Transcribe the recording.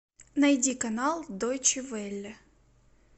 найди канал дойче велле